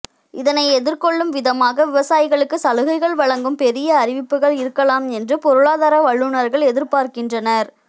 இதனை எதிர்கொள்ளும் விதமாக விவசாயிகளுக்கு சலுகைகள் வழங்கும் பெரிய அறிவிப்புகள் இருக்கலாம் என்று பொருளாதார வல்லுநர்கள் எதிர்பார்க்கின்றனர்